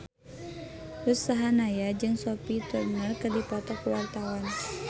Ruth Sahanaya jeung Sophie Turner keur dipoto ku wartawan